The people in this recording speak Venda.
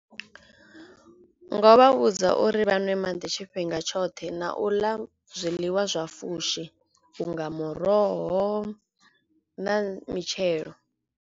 Ngo vha vhudza uri vha nwe maḓi tshifhinga tshoṱhe na u ḽa zwiḽiwa zwa fushi unga muroho na mitshelo.